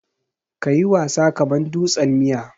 Ka yi wasa kaman dutsen miya.